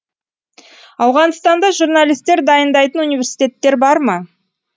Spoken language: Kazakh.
ауғанстанда журналистер дайындайтын университеттер бар ма